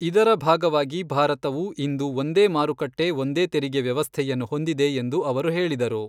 ಇದರ ಭಾಗವಾಗಿ ಭಾರತವು ಇಂದು ಒಂದೇ ಮಾರುಕಟ್ಟೆ ಒಂದೇ ತೆರಿಗೆ ವ್ಯವಸ್ಥೆಯನ್ನು ಹೊಂದಿದೆ ಎಂದು ಅವರು ಹೇಳಿದರು.